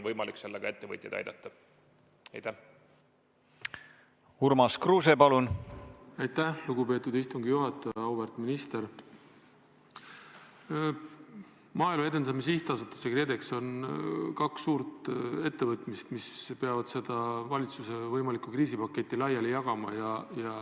Maaelu Edendamise Sihtasutus ja KredEx on kaks suurt ettevõtmist, mis peavad valitsuse võimalikku kriisipaketti laiali jagama.